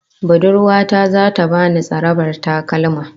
Budurwa ta zata bani tsarabar takalma